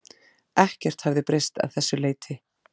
Ekkert hefði breyst að þessu leyti